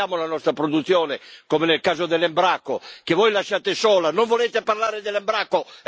E difendiamo la nostra produzione, come nel caso dell'Embraco, che voi lasciate sola! Non volete parlare dell'Embraco?